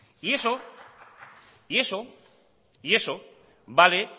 y eso vale